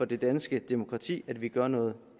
det danske demokratis grundvold at vi gør noget